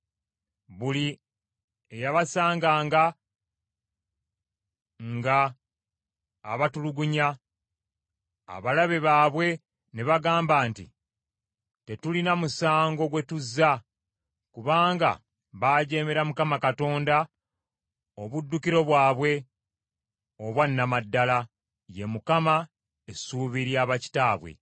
Buli eyabasanganga nga abatulugunya; abalabe baabwe ne bagamba nti, ‘Tetulina musango gwe tuzza, kubanga baajeemera Mukama Katonda, obuddukiro bwabwe obwa nnama ddala, ye Mukama , essuubi lya bakitaabwe.’